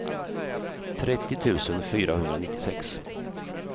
trettio tusen fyrahundranittiosex